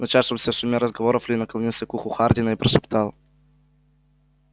в начавшемся шуме разговоров ли наклонился к уху хардина и прошептал